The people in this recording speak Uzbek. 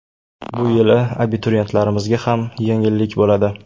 Bu yili abituriyentlarimizga ham yengillik bo‘ladi.